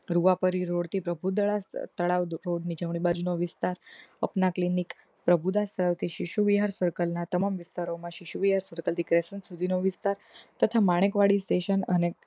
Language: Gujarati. રૂહા પરીરોડ થી પ્રભુ તળાવ રોડ ની જમણી બાજુનો વિસ્તાર અપના clinic પ્રભુ દસ સર્વતિ શિશુ વિહાર circle ના તમામ વિસ્તારો માં શીશુ વિહા circle સુધી નો વિસ્તાર